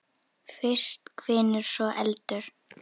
Fyrst hvinur, svo eldur.